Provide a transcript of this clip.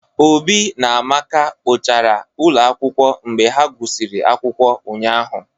Obi na Amaka kpochara ụlọ akwụkwọ mgbe ha gụsịrị akwụkwọ ụnyahụ